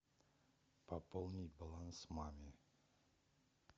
пополни баланс маме